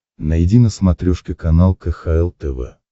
найди на смотрешке канал кхл тв